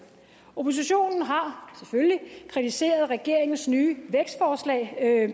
oppositionen har selvfølgelig kritiseret regeringens nye vækstforslag